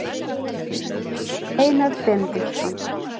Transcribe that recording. Heimild: Einar Benediktsson.